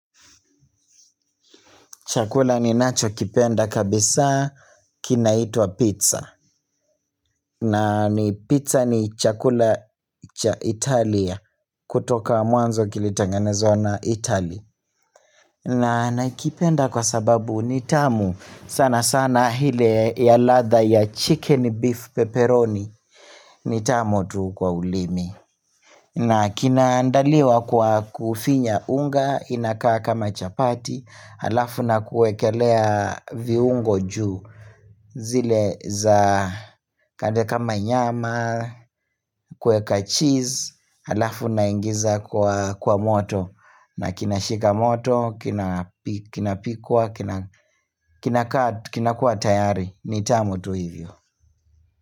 Chakula ni nacho kipenda kabisa kinaitwa pizza na pizza ni chakula cha Italia kutoka mwanzo kilitangenezwa na Italia na naikipenda kwa sababu nitamu sana sana ile ya ladha ya chicken beef pepperoni nitamu tu kwa ulimi. Na kinaandaliwa kwa kufinya unga, inakaa kama chapati, alafu na kuekelea viungo juu zile za kande kama nyama, kueka cheese, alafu na ingiza kwa moto na kinashika moto, kinapikwa, kinakaa, kinakuwa tayari, nitamu tu hivyo.